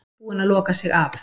Búin að loka sig af